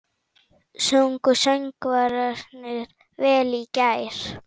Sungu söngvararnir vel í gær?